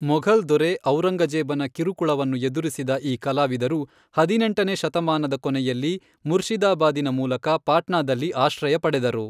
ಮೊಘಲ್ ದೊರೆ ಔರಂಗಜೇಬನ ಕಿರುಕುಳವನ್ನು ಎದುರಿಸಿದ ಈ ಕಲಾವಿದರು ಹದಿನೆಂಟನೇ ಶತಮಾನದ ಕೊನೆಯಲ್ಲಿ ಮುರ್ಷಿದಾಬಾದಿನ ಮೂಲಕ ಪಾಟ್ನಾದಲ್ಲಿ ಆಶ್ರಯ ಪಡೆದರು.